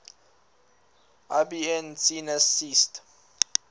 ibn sina ceased